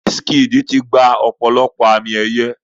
Wizkid ti gba ọ̀pọ̀lọpọ̀ àmì ẹ̀yẹ.